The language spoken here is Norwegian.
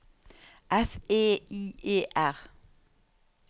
F E I E R